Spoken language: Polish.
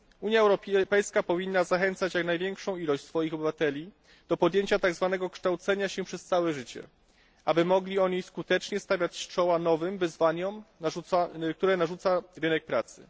Unia Europejska powinna zachęcać jak największą liczbę swoich obywateli do podjęcia tak zwanego kształcenia się przez całe życie, aby mogli oni skutecznie stawiać czoła nowym wyzwaniom, które narzuca rynek pracy.